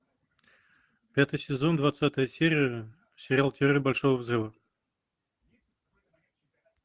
пятый сезон двадцатая серия сериал теория большого взрыва